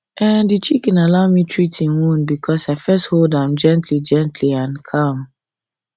um the chicken allow me treat e wound because i first hold am gently am gently and calm